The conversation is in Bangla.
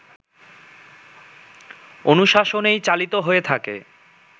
অনুশাসনেই চালিত হয়ে থাকে